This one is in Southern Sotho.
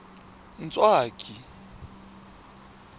ntswaki